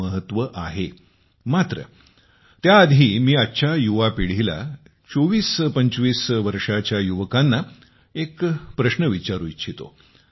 मात्र त्याआधी मी आजच्या युवा पिढीला 2425 वर्षांच्या युवकांना एक प्रश्न विचारू इच्छितो